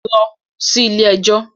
Lọ sí ilé ẹjọ́.